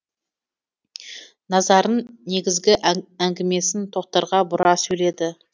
назарын негізгі әңгімесін тоқтарға бұра сөйледі